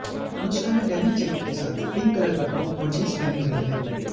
अनुष्का ने denim jacket के साथ पिंक कलर का टॉप और जीन्स पहनी हुई है